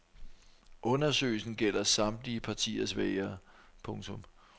Undersøgelsen gælder samtlige partiers vælgere. punktum